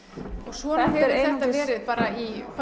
svona hefur þetta verið í bara